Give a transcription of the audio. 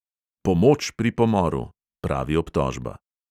"Pomoč pri pomoru," pravi obtožba.